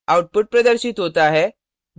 output प्रदर्शित होता है